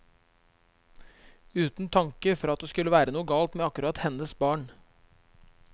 Uten tanke for at det skulle være noe galt med akkurat hennes barn.